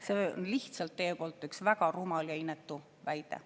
See oli lihtsalt teie poolt üks väga rumal ja inetu väide.